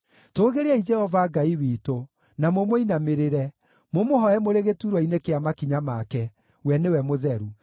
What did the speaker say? Tũũgĩriai Jehova Ngai witũ, na mũmũinamĩrĩre, mũmũhooe mũrĩ gĩturwa-inĩ kĩa makinya make; we nĩwe mũtheru.